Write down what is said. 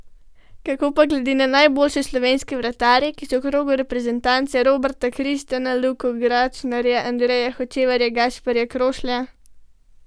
Kako pa gleda na najboljše slovenske vratarje, ki so v krogu reprezentance, Roberta Kristana, Luko Gračnarja, Andreja Hočevarja, Gašperja Krošlja?